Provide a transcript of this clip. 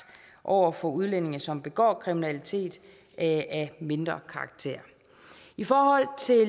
over for udlændinge som begår kriminalitet af mindre karakter i forhold til